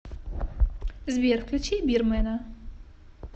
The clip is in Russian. сбер включи бирмэна